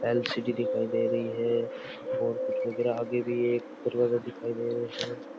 L C D दिखाई दे रही है और कुछ यहाँ पे भी एक दरवाजा दिखाई दे रहा है।